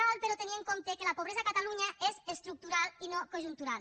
cal però tenir en compte que la pobresa a catalunya és estructural i no conjuntural